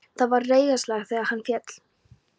Það var reiðarslag þegar hann féll.